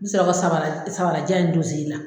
N bɛ sɔrɔ ka sabara sabarajan in don n senna.